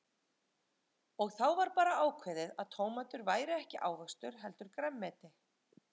Og þá bara var ákveðið að tómatur væri ekki ávöxtur heldur grænmeti.